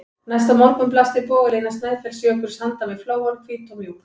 Næsta morgun blasti bogalína Snæfellsjökuls við handan við flóann, hvít og mjúk.